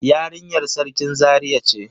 Yarinyar Sarkin Zaria ce.